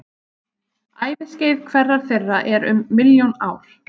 Æviskeið hverrar þeirra er um milljón ár.